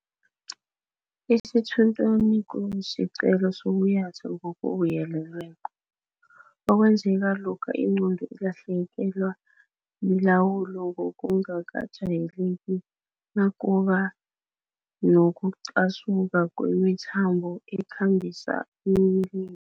Isithunthwana kusiqhelo sokuyatha ngokubuyelelweko, okwenzeka lokha ingqondo ilahlekelwa lilawulo ngokungakajayeleki nakuba nokuqhasuka kwemithambo ekhambisa umlilo.